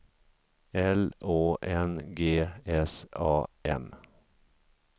L Å N G S A M